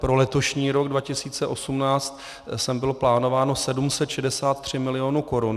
Pro letošní rok 2018 sem bylo plánováno 763 milionů korun.